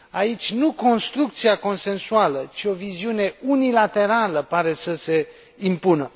Aici nu construcția consensuală, ci o viziune unilaterală pare să se impună.